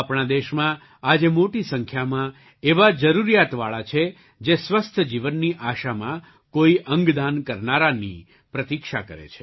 આપણા દેશમાં આજે મોટી સંખ્યામાં એવા જરૂરિયાતવાળા છે જે સ્વસ્થ જીવનની આશામાં કોઈ અંગ દાન કરનારાની પ્રતીક્ષા કરે છે